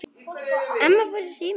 Amma fór í símann.